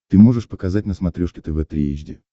ты можешь показать на смотрешке тв три эйч ди